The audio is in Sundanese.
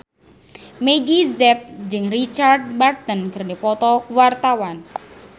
Meggie Z jeung Richard Burton keur dipoto ku wartawan